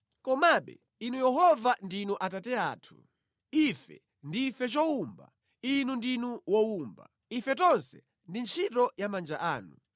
Komabe, Inu Yehova ndinu Atate athu. Ife ndife chowumba, Inu ndinu wowumba; ife tonse ndi ntchito ya manja anu.